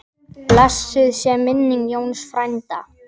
Blessuð sé minning Jónsa frænda.